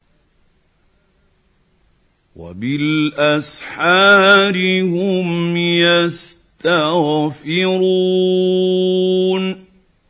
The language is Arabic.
وَبِالْأَسْحَارِ هُمْ يَسْتَغْفِرُونَ